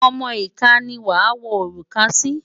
Ọmọ ìka ni wàá wọ òrùka náà sí.